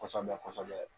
Kɔsɔbɛ kɔsɔbɛ